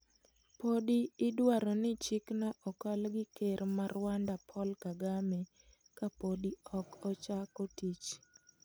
Podi iduaro ni chikno okal gi ker ma Rwanda Paul Kagame ka podi ok ochako tich.